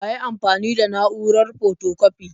Wa yayi amfani da na'urar fotokwafi?